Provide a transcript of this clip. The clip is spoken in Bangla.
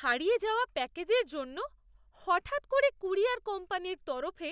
হারিয়ে যাওয়া প্যাকেজের জন্য হঠাৎ করে ক্যুরিয়ার কোম্পানির তরফে